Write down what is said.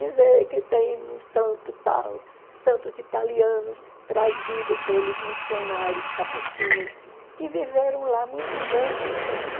Dizer que tem um santo tal, santos italianos, trazidos pelos missionários capuchinhos, que viveram lá muitos anos